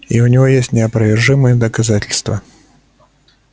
и у него есть неопровержимые доказательства